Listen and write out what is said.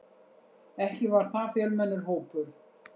Ekki var það fjölmennur hópur.